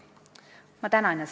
Ma tänan!